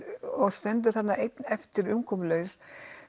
og stendur þarna einn eftir umkomulaus